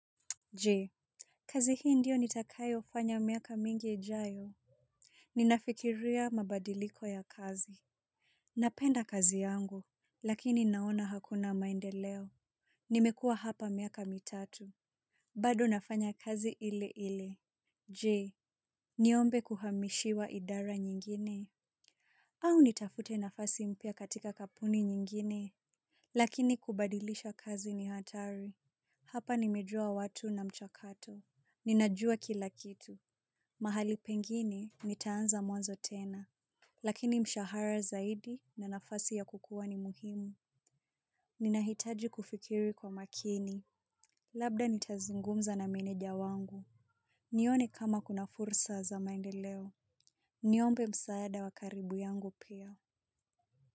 Je, kazi hii ndio nitakayofanya miaka mingi ijayo? Ninafikiria mabadiliko ya kazi. Napenda kazi yangu lakini naona hakuna maendeleo. Nimekuwa hapa miaka mitatu. Bado nafanya kazi ile ile. Je, niombe kuhamishiwa idara nyingine? Au nitafute nafasi mpya katika kampuni nyingine. Lakini kubadilisha kazi ni hatari. Hapa nimejua watu na mchakato. Ninajua kila kitu. Mahali pengine nitaanza mwanzo tena. Lakini mshahara zaidi na nafasi ya kukua ni muhimu. Ninahitaji kufikiri kwa makini. Labda nitazungumza na meneja wangu. Nione kama kuna fursa za maendeleo. Niombe msaada wa karibu yangu pia.